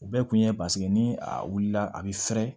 U bɛɛ kun ye paseke ni a wulila a bɛ fɛrɛ